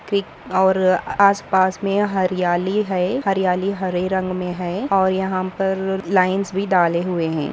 और आसपास में हरियाली है हरियाली हरे रंग में है और यहाँ पर लाइन्स भी डाले हुए है।